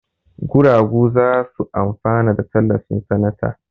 Guragu za su amfana da tallafin sanata.